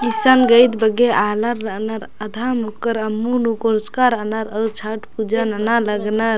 ईसन गईद बग्गो आलर रअनर आधा मुक्कर अम्मू नू कोरचका रअनर अऊर छठ पूजा नना लगनर।